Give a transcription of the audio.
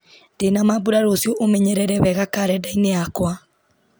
ndĩna mambura rũciũ ũmenyerere wega karenda-inĩ yakwa